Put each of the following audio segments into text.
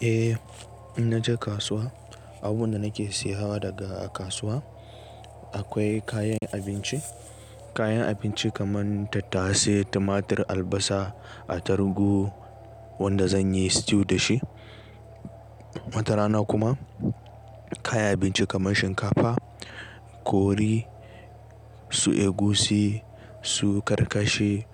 Eh, in naje kasuwa abunda nake siya hawa daga a kasuwa akwai kayan abinci, kayan abinci kaman tattase, timatir, albasa, atarugu wanda zanyi stew dashi. Wata rana kuma kayan abinci kaman shinkafa, kori, su egusi, su karkashe,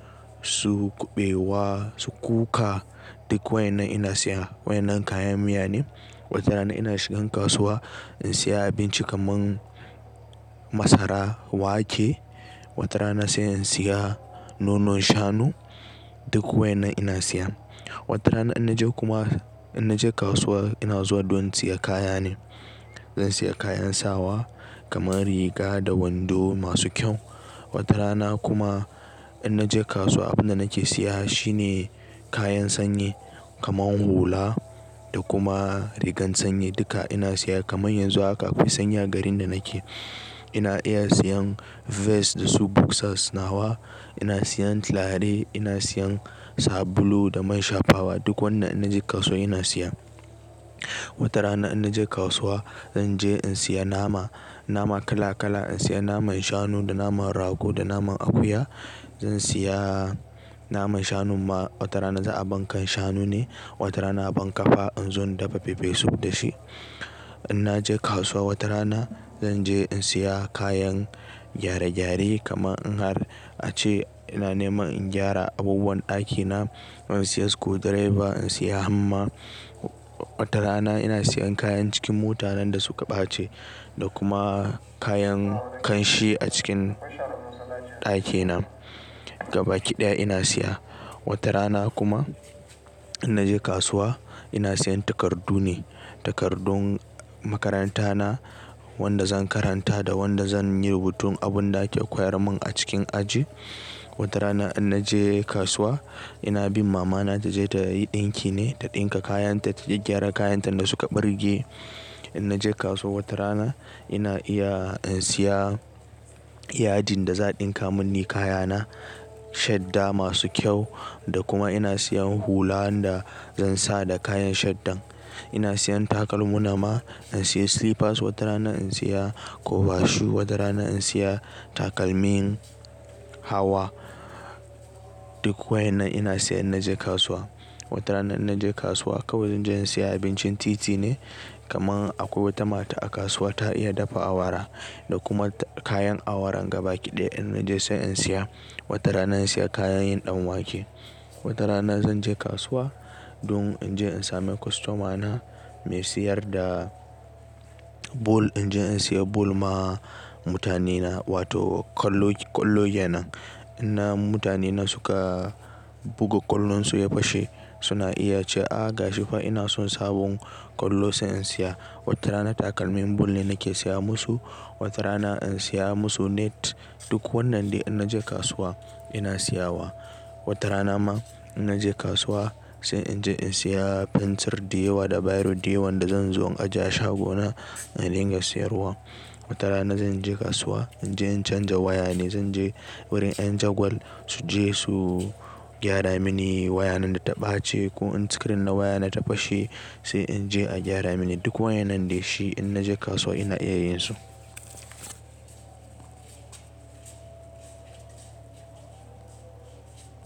su kuɓewa, su kuka duk wayan nan ina siya. Wa yan nan kayan miya ne. Wata rana ina shigan kasuwa in siya abinci kaman masara, wake. Wata rana sai in siya nonon shanu duk wai na ina siya. Wata rana in naje kuma, in naje kasuwa ina zuwa don siya kaya ne. Zan siya kayan sawa kaman riga da wando masu kyau. Wata rana kuma in naje kasuwa abunda nake siya shine kayan sanye kaman hula da kuma rigar sanye duka ina siya. Kaman yanzu haka akwai sanya garin da nake ina iya siyan vest da su boxer nawa, ina siyan lare, ina siyan sabulu da man shafawa duk wannan in naje kasuwa ina siya. Wata rana in naje kasuwa zan je in siya nama, nama kala kala. In siya naman shanu da naman rago da naman akuya. Zan siya naman shanu ma wata rana za'a abankan shanu ne, wata rana a aban kafa in zo in dafa pepper soup da shi. In naje kasuwa wata rana zan je in siya kayan gyare gyare kaman in har ace ina neman in gyara abubuwan ɗakina. Zan siya screwdriver, in siya hamma. Wata rana ina siyan kayan cikin mota nan da suka ɓace da kuma kayan ƙanshi a cikin ɗakina gaba kiɗaya ina siya. Wata rana kuma in naje kasuwa ina siyan takardu ne, takardun makaranta na wanda zan karanta da wanda zan yi rubutun abunda ake koyar mun a cikin aji. Wata rana in naje kasuwa ina bin mama na ta je ta yi ɗinki ne ta ɗinka kayan ta, ta je gyara kayan ta da suka ɓirge. In naje kasuwa wata rana ina iya in siya yadin da za a ɗinka mun ni kaya na, shadda masu kyau da kuma ina siyan hula wanda zan sa da kayan shadda'n. Ina siyan takalmu na ma, in siya slippers. Wata rana in siya kobashu, wata rana in siya takalmin hawa duk wai na ina siya in naje kasuwa. Wata rana in naje kasuwa kawai zan je in siya abincin titi ne kaman akwai wata mata a kasuwa ta iya dafa awara da kuma kayan awaran gaba kiɗaya in naje sai in siya. Wata rana in siya kayan yin ɗanwake. Wata rana zan je kasuwa don in je in same kwastomana me siyar da bul in je in siya bul ma mutanena wato ƙwallo, ƙwallo ke nan. Inna mutane na suka buga ƙwallon su ya fashe suna iya ce "a gashi fa ina son sabon ƙwallo sai in siya." Wata rana takalmin bul ne nake siya musu, wata rana in siya musu net duk wannan de in naje kasuwa ina siya wa. Wata rana ma in naje kasuwa sai in je in siya fensir diyawa da biro diyawan da zan zo in ajiye a shago na in ringa siyarwa. Wata rana zan je kasuwa in je in canja waya ne, zan je wurin ƴan jagwal su je su gyara mini waya nan da ta ɓace ko in sikirin na waya na ta fashe sai in je a gyara mini duk wai nan dai shi in naje kasuwa ina iya yinsu.